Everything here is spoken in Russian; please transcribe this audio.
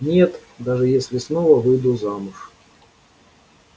нет даже если снова выйду замуж